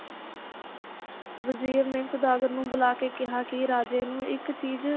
ਵਜ਼ੀਰ ਨੇ ਸੌਦਾਗਰ ਨੂੰ ਬੁਲਾ ਕੇ ਕਿਹਾ ਕਿ ਰਾਜੇ ਨੂੰ ਇੱਕ ਚੀਜ਼,